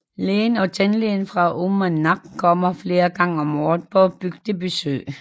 Lægen og tandlægen fra Uummannaq kommer flere gange om året på bygdebesøg